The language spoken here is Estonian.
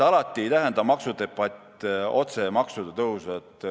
Alati ei tähenda maksudebatt otseselt maksude tõusu.